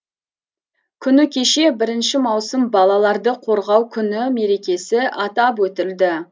күні кеше бірінші маусым балаларды қорғау күні мерекесі атап өтілді